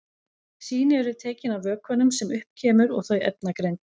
Sýni eru tekin af vökvanum sem upp kemur og þau efnagreind.